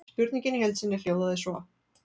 Spurningin í heild sinni hljóðaði svo: